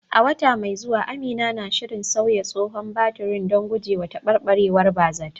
A wata mai zuwa, Amina na shirin sauya tsohon batirin don gujewa taɓarɓarewar ba zata